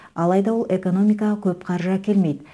алайда ол экономикаға көп қаржы әкелмейді